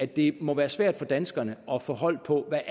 det må være svært for danskerne at få hold på hvad